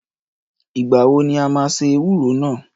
Ìgbà wọ ni a máa se ewúro náà?